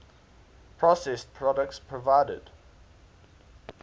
processed products provided